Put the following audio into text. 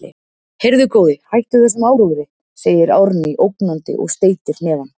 Heyrðu, góði, hættu þessum áróðri, segir Árný ógnandi og steytir hnefann.